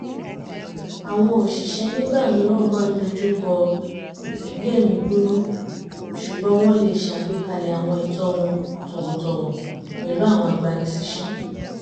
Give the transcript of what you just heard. àwọn òṣìṣẹ́ nígbà mìíràn máa ń dojúkọ ìgbé-ẹ̀mí-gbóná ṣùgbọ́n wọ́n lè ṣàgbékalẹ̀ àwọn ẹ̀tọ́ wọn tọ̀wọ̀tọ̀wọ̀ pẹ̀lú àwọn agbani síṣẹ́